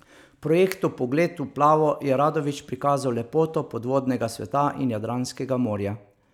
V projektu Pogled v plavo je Radović prikazal lepoto podvodnega sveta in Jadranskega morja.